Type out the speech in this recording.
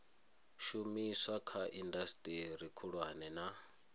shumiswa kha indasiteri khulwane na